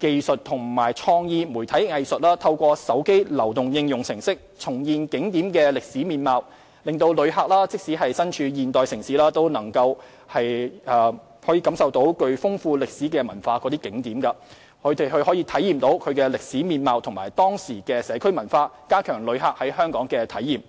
技術和創意媒體藝術，透過手機流動應用程式重現景點的歷史面貌，讓旅客即使身處現代都市，也可感受具豐厚歷史文化的景點，體驗其歷史面貌和當時的社區文化，加強旅客在香港的體驗。